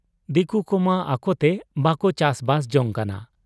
ᱫᱤᱠᱩ ᱠᱚᱢᱟ ᱟᱠᱚᱛᱮ ᱵᱟᱠᱚ ᱪᱟᱥᱵᱟᱥ ᱡᱟᱝ ᱠᱟᱱᱟ ᱾